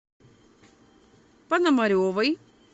пономаревой